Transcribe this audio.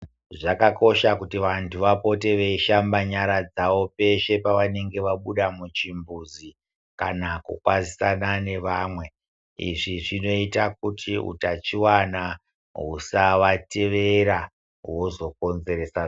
Zvakakosha kuti vantu vapote veishamba nyara dzavo pese pavanenge vabuda michimbuzi kana kukwanisa ne vamwe izvi zvinoita kuti utachiwana usavatevera wozo konzeresa zvitenda.